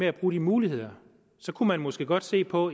at bruge de muligheder kunne man måske godt se på